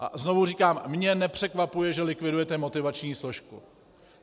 A znovu říkám, mě nepřekvapuje, že likvidujete motivační složku.